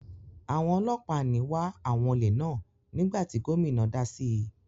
Àwọn ọlọ́pàá ní wá àwọn olè náà nígbà tí gómìnà dá síi.